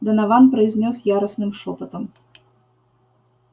донован произнёс яростным шёпотом